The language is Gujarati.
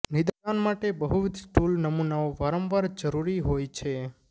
નિદાન માટે બહુવિધ સ્ટૂલ નમૂનાઓ વારંવાર જરૂરી હોય છે